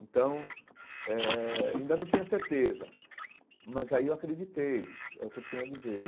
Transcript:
Então, eh ainda não tinha certeza, mas aí eu acreditei, é o que eu tenho a dizer.